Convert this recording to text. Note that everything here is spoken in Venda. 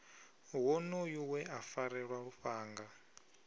wonoyo we a farelwa lufhanga